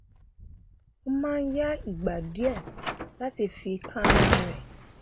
ó máa ń ya ìgbà díẹ láti fi kánra rẹ